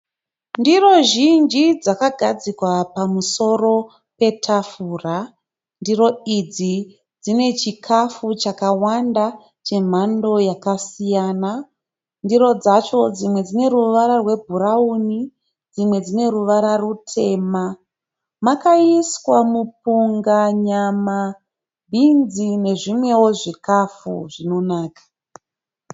Ndiro zhinji dzakagadzikwa pamusoro petafura. Ndiro idzi dzine chikafu chakawanda chemhando yakasiyana. Ndiro dzacho dzimwe dzine ruvara rwebhurauni dzimwe dzine ruvara rutema. Makaiswa mupunga, nyama, bhinzi nezvimweo zvikafu zvinonaka.